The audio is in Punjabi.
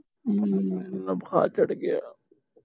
ਬੁਖਾਰ ਚੜ ਗਿਆ